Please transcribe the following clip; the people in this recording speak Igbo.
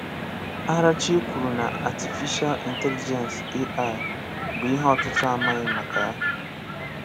Àràchìè kwuru na Atífíshà Ị̀ntélíjènsì (AI) bụ́ ihe ọ̀tùtù̀ amaghí maka ya.